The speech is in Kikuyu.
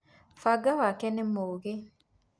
banga wakwa nĩ mũgĩ.